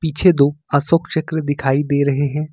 पीछे दो अशोक चक्र दिखाई दे रहे हैं।